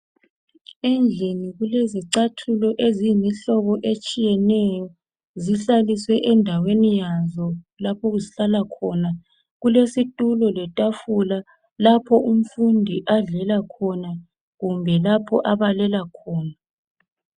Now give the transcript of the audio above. Endlini kule zicathulo eziyimihlobo etshiyeneyo, zihlaliswe endaweni yazo lapho ezihlala khona. Kulesithulo lethafula lapho umfundi adlela khona, kumbe lapho abalela khona.